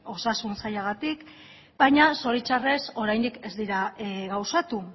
osasun sailagatik baina zoritxarrez oraindik ez dira gauzatu